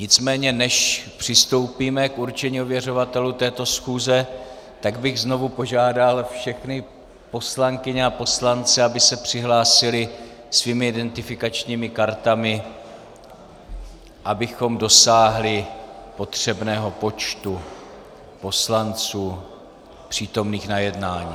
Nicméně než přistoupíme k určení ověřovatelů této schůze, tak bych znovu požádal všechny poslankyně a poslance, aby se přihlásili svými identifikačními kartami, abychom dosáhli potřebného počtu poslanců přítomných na jednání.